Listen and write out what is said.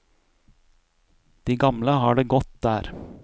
De gamle har det godt der.